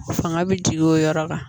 Fanga bɛ jigin o yɔrɔ kan